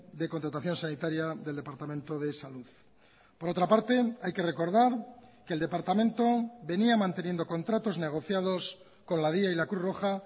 de contratación sanitaria del departamento de salud por otra parte hay que recordar que el departamento venía manteniendo contratos negociados con la dya y la cruz roja